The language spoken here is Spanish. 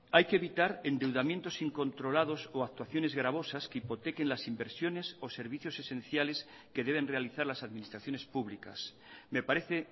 hay que evitar endeudamientos incontrolados o actuaciones gravosas que hipotequen las inversiones o servicios esenciales que deben realizar las administraciones públicas me parece